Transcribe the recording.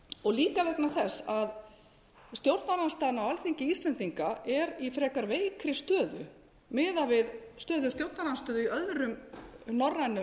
og líka vegna þess að stjórnarandstaðan á alþingi íslendinga er í frekar veikri stöðu miðað við stöðu stjórnarandstöðu í öðrum norrænum